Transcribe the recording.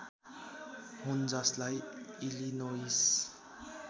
हुन् जसलाई इलिनोइस